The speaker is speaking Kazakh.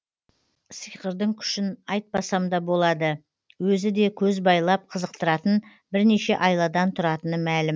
сиқырдың күшін айтпасамда болады өзіде көз байлап қызықтыратын бірнеше айладан тұратыны мәлім